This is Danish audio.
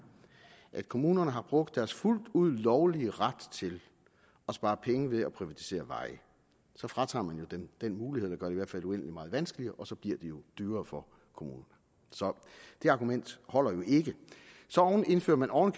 at kommunerne har brugt deres fuldt ud lovlige ret til at spare penge ved at privatisere veje så fratager man jo dem den mulighed man gør det i hvert fald uendelig meget vanskeligere og så bliver det jo dyrere for kommunerne så det argument holder jo ikke så indfører man oven